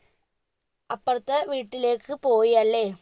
അപ്പർത്തേ വീട്ടിലേക്ക് പോയിയല്ലേ